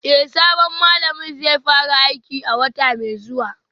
Eh sabon malamin zai fara aiki a wata mai zuwa